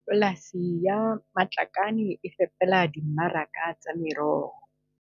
Polasi ya Matlakane e fepela dimmaraka tsa meroho tsa.